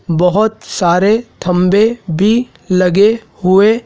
बहोत सारे थंबे भी लगे हुए--